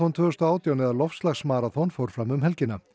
tvö þúsund og átján eða fór fram um helgina